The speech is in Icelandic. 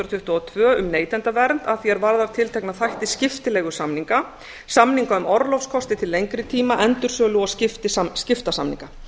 tuttugu og tvö um neytendavernd að því er varðar tiltekna þætti skiptileigusamninga samninga um orlofs kosti til lengri tíma endursölu og skiptasamninga